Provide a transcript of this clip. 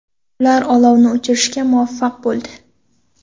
Ular olovni o‘chirishga muvaffaq bo‘ldi.